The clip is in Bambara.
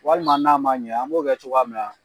Walima n'a ma ɲɛ an b'o kɛ cogoya min na